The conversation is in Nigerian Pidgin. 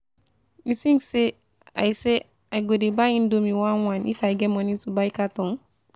You think say I say I go dey buy indomie one one if I get money to buy carton?